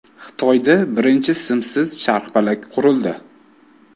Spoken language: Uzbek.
Xitoyda birinchi simsiz charxpalak qurildi.